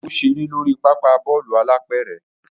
O ṣere lori papa Bọ́ọ̀lù alápẹ̀rẹ̀